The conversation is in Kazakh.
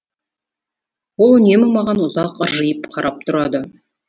ол үнемі маған ұзақ ыржиып қарап тұрады